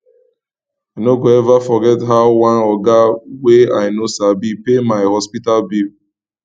i no go eva forget how one oga wey i no sabi pay my hospital bill